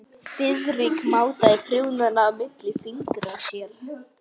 Friðrik mátaði prjónana milli fingra sér.